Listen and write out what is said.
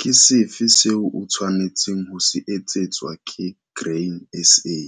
Ke sefe seo o tshwanetseng ho se etsetswa ke Grain SA,